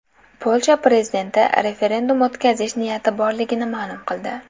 Polsha prezidenti referendum o‘tkazish niyati borligini ma’lum qildi.